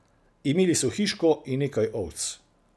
Imeli so hiško in nekaj ovc.